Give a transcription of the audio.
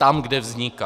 Tam, kde vzniká.